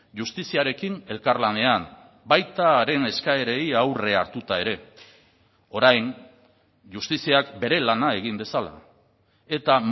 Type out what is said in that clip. justiziarekin elkarlanean baita haren eskaerei aurrea hartuta ere orain justiziak bere lana egin dezala eta